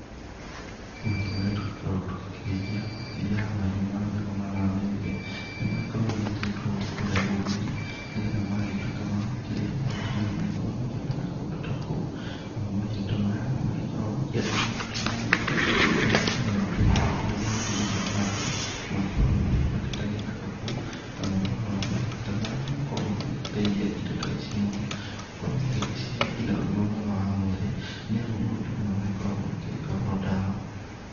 Mahiũ marĩa tũgĩkoragwo tũgĩkĩrĩithia, makĩria ya mahiũ ma mĩgoma na thenge. Nĩmagĩkoragwo magĩgĩtwarwo kũrĩa rũru-inĩ, nĩgetha magagĩtuĩka ma gũkĩrĩa mahuti marĩa magĩkoragwo makĩoneka kũndũ ta kũu. Namo mahiũ ta maya, nĩmagĩkoragwo makĩenda maũndũ ta maya mũno. Nĩgũkorwo nĩmakĩrĩaga nginya mahuti marĩa mangĩ, magĩkoragwo magĩkũrĩte ta gĩthaka kũu. Namo mahuti ta maya magakorwo magĩgĩteithia indo ta ici mũno, gũkorwo magĩgĩcihe nginya ũgima mwega wa mwĩrĩ. Nĩamu mahuti maya magĩkoragwo makĩrĩ o ndawa.